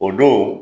O don